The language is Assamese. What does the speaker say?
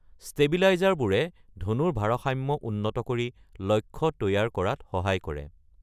ষ্টেবিলাইজাৰবোৰে ধনুৰ ভাৰসাম্য উন্নত কৰি লক্ষ্য তৈয়াৰ কৰাত সহায় কৰে।